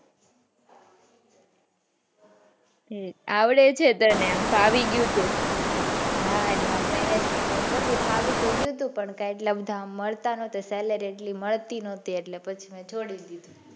આવડે હે તને ફાવી ગયું હતું હા આમ તો management ને બધું ફાવી પણ ગયું હતું પણ એટલું મળતું નતુ sallery એટલી મળતી નતી પછી મેં છોડી દીધું.